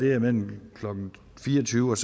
er mellem klokken fire og tyve og